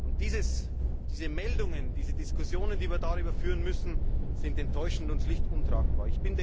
Und diese Meldungen, diese Diskussionen, die wir darüber führen müssen, sind enttäuschend und schlicht untragbar.